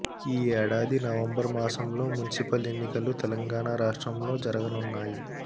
ఈ ఏడాది నవంబర్ మాసంలో మున్సిపల్ ఎన్నికలు తెలంగాణ రాష్ట్రంలో జరగనున్నాయి